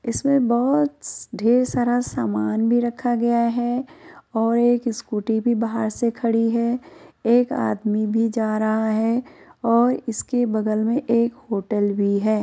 इसमें बोहोत स ढेर सारा सामान भी रखा गया है और एक स्कूटी भी बाहर से खड़ी है। एक आदमी भी जा रहा है और इसके बगल में एक होटल भी है।